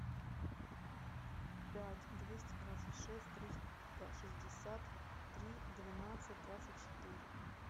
пять двести двадцать шесть триста шестьдесят три двенадцать двадцать четыре